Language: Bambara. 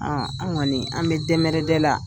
An kɔni an bɛ dɛmɛrɛdɛ la.